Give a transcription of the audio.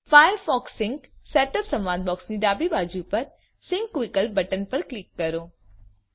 Firefox sync setup સંવાદ બોક્સની ડાબી બાજુ પર સિન્ક વિકલ્પ બટન પર ક્લિક કરો